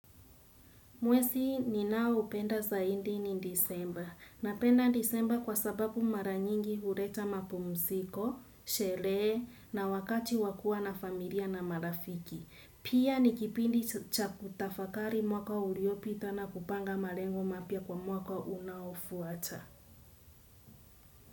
Mwezi ninaoupenda zaidi ni Disemba. Napenda Disemba kwa sababu maranyingi huleta mapumziko, sherehe na wakati wa kua na familia na marafiki. Pia ni kipindi cha kutafakari mwaka uliopita na kupanga malengo mapya kwa mwaka unaofuata.